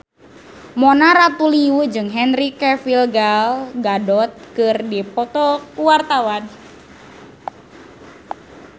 Mona Ratuliu jeung Henry Cavill Gal Gadot keur dipoto ku wartawan